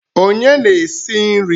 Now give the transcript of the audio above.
Onye na-esi nri?